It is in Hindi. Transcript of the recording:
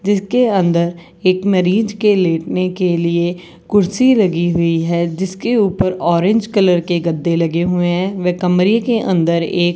जिसके अंदर एक मरीज के लेटने के लिए कुर्सी लगी हुई है जिसके ऊपर ऑरेंज कलर के गद्दे लगे हुए हैं व कमरे के अंदर एक --